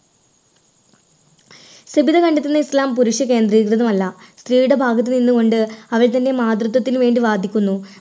സബിത കണ്ടെത്തുന്ന ഇസ്ലാം പുരുഷ കേന്ദ്രീകൃതമല്ല സ്ത്രീയുടെ ഭാഗത്തു നിന്നുകൊണ്ട് അവൾ തൻറെ മാതൃത്വത്തിന് വേണ്ടി വാദിക്കുന്നു.